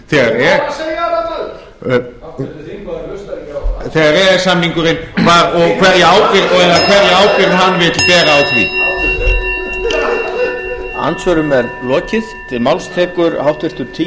þegar ég var að segja það maður háttvirtur þingmaður hlustaði á e e s samningurinn var og hverja ábyrgð hann vill bera á því